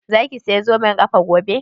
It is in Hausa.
Za ki saya zoben ƙafa gobe?